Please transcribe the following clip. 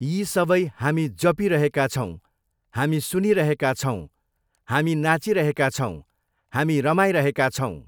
यी सबै हामी जपीरहेका छौँ, हामी सुनीरहेका छौँ, हामी नाचीरहेका छौँ, हामी रमाइरहेका छौँ।